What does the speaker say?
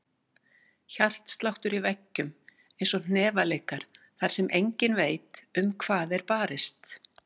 Hjartsláttur í veggjum, einsog hnefaleikar þar sem enginn veit um hvað er barist.